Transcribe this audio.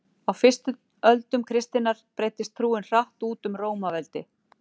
Á fyrstu öldum kristninnar breiddist trúin hratt út um Rómaveldi.